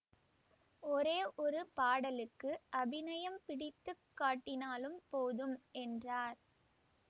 ஒரே ஒரு பாடலுக்கு அபிநயம் பிடித்து காட்டினாலும் போதும் என்றார்